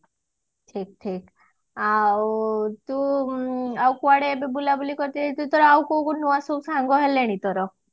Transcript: ଠିକ ଠିକ ଆଉ ତୁ ଆଉ କୁଆଡେ ଏବେ ବୁଲାବୁଲି କରି ଯାଇଥିଲୁ ତୋର ଏଥର ଆଉ କୋଉ କୋଉ ନୂଆ ସବୁ ସାଙ୍ଗ ହେଲେଣି ତୋର